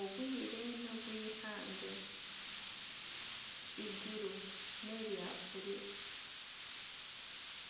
Obwire nobw'eihangwe eiguru nerya buruuru